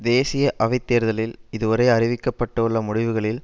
தேசிய அவை தேர்தலில் இதுவரை அறிவிக்க பட்டுள்ள முடிவுகளில்